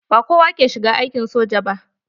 Ba kowa ke shiga aikin soja ba.